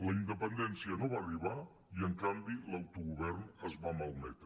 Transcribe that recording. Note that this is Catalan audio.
la independència no va arribar i en canvi l’autogovern es va malmetre